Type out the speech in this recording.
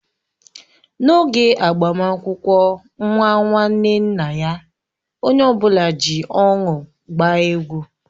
N'oge agbamakwụkwọ nwa nwanne nna ya, onye ọbụla ji ọṅụ gbaa egwu.